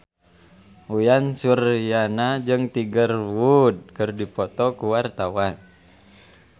Uyan Suryana jeung Tiger Wood keur dipoto ku wartawan